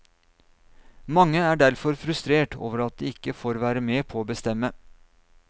Mange er derfor frustrert over at de ikke får være med på å bestemme.